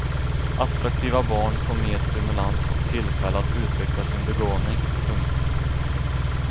Attraktiva barn får mer stimulans och tillfälle att utveckla sin begåvning. punkt